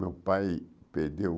Meu pai perdeu